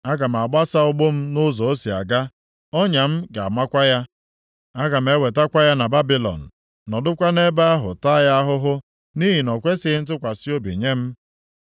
Aga m agbasa ụgbụ m nʼụzọ o si aga; ọnya m ga-amakwa ya. Aga m ewetakwa ya na Babilọn, nọdụkwa nʼebe ahụ taa ya ahụhụ nʼihi na ọ kwesighị ntụkwasị obi nye m.